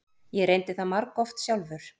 Ég reyndi það margoft sjálfur.